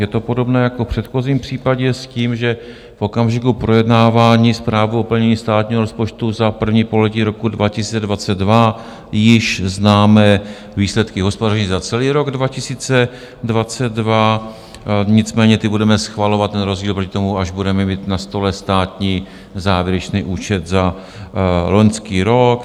Je to podobné jako v předchozím případě s tím, že v okamžiku projednávání Zprávy o plnění státního rozpočtu za první pololetí roku 2022 již známe výsledky hospodaření za celý rok 2022, nicméně ty budeme schvalovat, ten rozdíl proti tomu, až budeme mít na stole státní závěrečný účet za loňský rok.